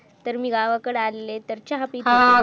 तर मी गावाकडे आलेले तर चहा पीत होते